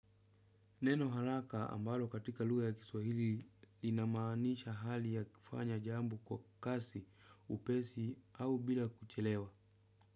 Neno haraka ambalo katika lugha ya kiswahili linamanisha hali ya kufanya jambo kwa kasi, upesi au bila kuchelewa.